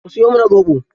Ku siyo mana zoɓo.